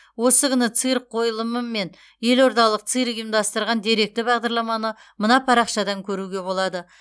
осы күні цирк қойылымы мен елордалық цирк ұйымдастырған деректі бағдарламаны мына парақшадан көруге болады